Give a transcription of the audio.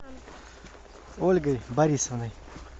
ольгой борисовной